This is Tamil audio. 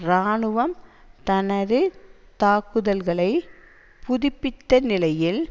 இராணுவம் தனது தாக்குதல்களை புதுப்பித்த நிலையில்